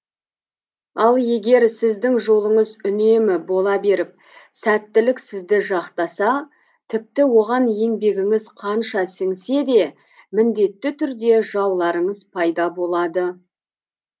ал егер сіздің жолыңыз үнемі бола беріп сәттілік сізді жақтаса тіпті оған еңбегіңіз қанша сіңсе де міндетті түрде жауларыңыз пайда болады